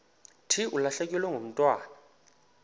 thi ulahlekelwe ngumntwana